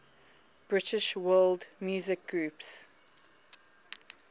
british world music groups